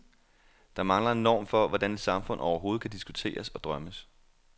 Der mangler en norm for, hvordan et samfund overhovedet kan diskuteres og drømmes.